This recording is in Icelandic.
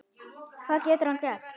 Hvað getur hann gert?